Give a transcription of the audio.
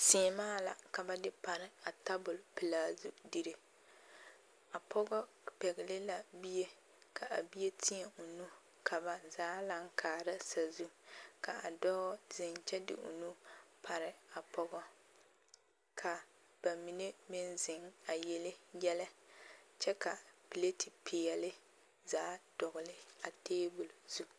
Seemaa la ka ba de pare a tabol pelaa zu dire, a pɔgɔ pɛgele la bie ka a bie têɛ o nu ka ba zaa laŋ kaara sasu ka a dɔɔ zeŋ kyɛ de o nu pare a pɔgɔ ka bamine meŋ zeŋ a yele yɛlɛ kyɛ ka pileti peɛle zaa dɔgele a teebol zu.